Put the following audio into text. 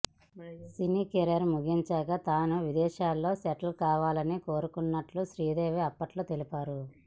సినీకెరీర్ ముగించాక తాను విదేశాల్లో సెటిల్ కావాలని కోరుకుంటున్నట్లు శ్రీదేవి అప్పట్లో తెలిపారు